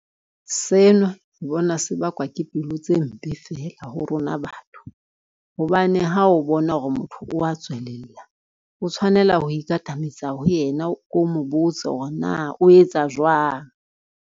Sena ke bona se bakwa ke pelo tse mpe feela ho rona batho, hobane ha o bona hore motho o wa tswelella, o tshwanela ho ikatametse ho yena o ko mo botse hore na o etsa jwang.